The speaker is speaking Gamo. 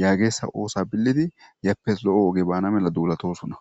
yaageessa oosa billidi yappes lo'o oge baana mela duulatosuna.